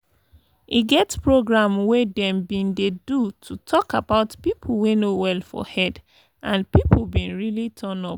e get program wey them bin dey do to talk about people wey no well for head and people bin really turn up